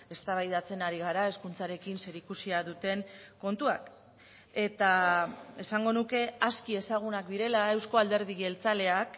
eztabaidatzen ari gara hezkuntzarekin zerikusia duten kontuak eta esango nuke aski ezagunak direla euzko alderdi jeltzaleak